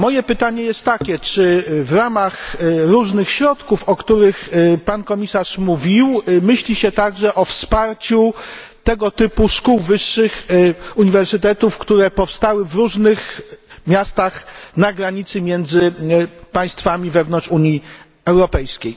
Moje pytanie jest takie czy w ramach różnych środków, o których pan komisarz mówił, myśli się także o wsparciu tego typu szkół wyższych, uniwersytetów, które powstały w różnych miastach na granicy między państwami wewnątrz Unii Europejskiej?